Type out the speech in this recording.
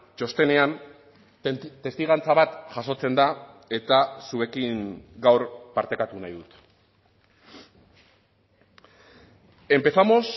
txostenean testigantza bat jasotzen da eta zuekin gaur partekatu nahi dut empezamos